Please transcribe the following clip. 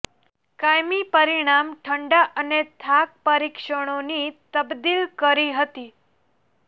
કાયમી પરિણામ ઠંડા અને થાક પરીક્ષણોની તબદીલ કરી હતી